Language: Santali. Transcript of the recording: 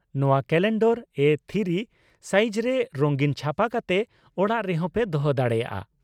ᱱᱚᱣᱟ ᱠᱟᱞᱮᱱᱰᱟᱨ ᱮ ᱛᱷᱤᱨᱤ ᱥᱟᱭᱤᱡᱨᱮ ᱨᱩᱝᱜᱤᱱ ᱪᱷᱟᱯᱟ ᱠᱟᱛᱮ ᱚᱲᱟᱜ ᱨᱮᱦᱚᱸ ᱯᱮ ᱫᱚᱦᱚ ᱫᱟᱲᱮᱭᱟᱜᱼᱟ ᱾